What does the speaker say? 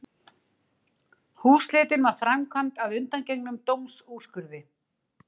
Húsleitin var framkvæmd að undangengnum dómsúrskurði